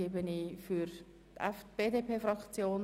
Dies ist wohl möglich.